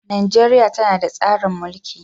Najeriya tana da tsarin mulki.